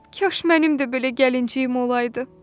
"Kaş mənim də belə gəlinciyim olaydı."